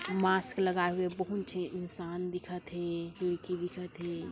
Mask लगाए हुए बहुत ठी इंसान दिखत हे खिड़की दिखत हे।